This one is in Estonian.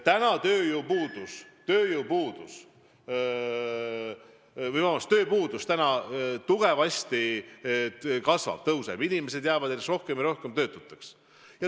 Ja tööpuudus meil tugevasti kasvab, inimesi jääb järjest rohkem ja rohkem töötuks.